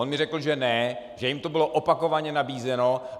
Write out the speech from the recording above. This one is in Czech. On mi řekl, že ne, že jim to bylo opakovaně nabízeno.